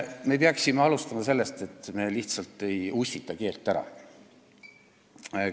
Me peaksime alustama sellest, et me lihtsalt ei lase keelel ära ussitada.